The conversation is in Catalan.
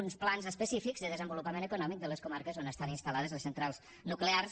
uns plans específics de desenvolupament econòmic de les comarques on estan instal·lades les centrals nuclears